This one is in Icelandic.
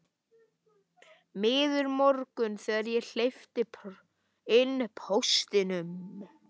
Miður morgunn þegar ég hleypi inn póstinum.